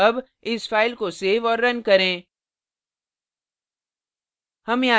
अब इस file को सेव और now करें